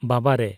ᱵᱟᱵᱟᱨᱮ !